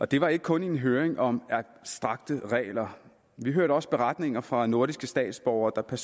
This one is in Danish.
det var ikke kun en høring om abstrakte regler vi hørte også beretninger fra nordiske statsborgere der